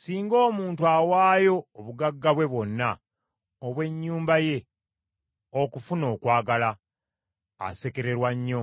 Singa omuntu awaayo obugagga bwe bwonna obw’ennyumba ye okufuna okwagala, asekererwa nnyo.